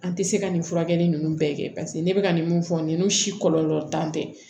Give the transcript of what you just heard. An tɛ se ka nin furakɛli ninnu bɛɛ kɛ paseke ne bɛ ka nin mun fɔ nin si kɔlɔlɔ tan tɛ